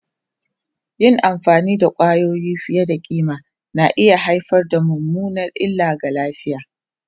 Yin amfani da kwayoyi fiye da kima na iya haifar da mummunar illa ga lafiya.